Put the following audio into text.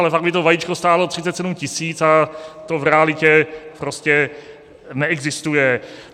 Ale pak by to vajíčko stálo 37 tisíc a to v realitě prostě neexistuje.